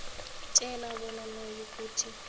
tjheja bona nayikuthi